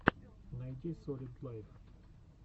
найди солид лайв